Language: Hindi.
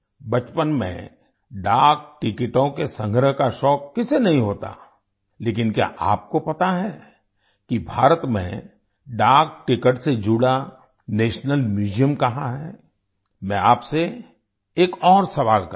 बचपन में डाक टिकटों के संग्रह का शौक किसे नहीं होता लेकिन क्या आपको पता है कि भारत में डाक टिकट से जुड़ा नेशनल म्यूजियम कहाँ है मैं आपसे एक और सवाल करता हूँ